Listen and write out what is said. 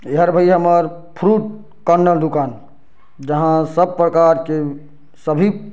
ए हर भई हमर फ्रूट कार्नर दुकान जहाँ सब प्रकार के सभी--